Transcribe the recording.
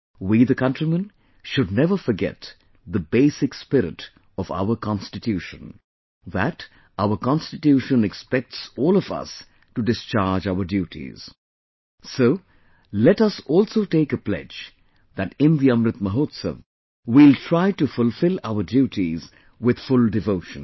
We the countrymen should never forget the basic spirit of our Constitution, that our Constitution expects all of us to discharge our duties so let us also take a pledge that in the Amrit Mahotsav, we will try to fulfill our duties with full devotion